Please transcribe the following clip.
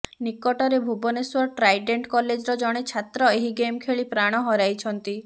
ନିକଟରେ ଭୁବନେଶ୍ବର ଟ୍ରାଇଡେଣ୍ଟ କଲେଜର ଜଣେ ଛାତ୍ର ଏହି ଗେମ୍ ଖେଳି ପ୍ରାଣ ହରାଇଛନ୍ତି